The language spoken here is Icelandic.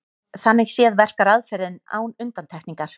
Þannig séð verkar aðferðin án undantekningar.